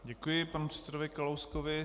Děkuji panu předsedovi Kalouskovi.